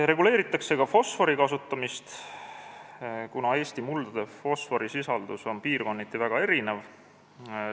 Reguleeritakse ka fosfori kasutamist, kuna Eesti muldade fosforisisaldus on piirkonniti väga erinev.